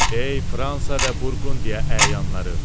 Ey Fransa və Burqundiya əyanları!